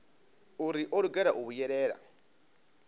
uri o lugela u vhuyelela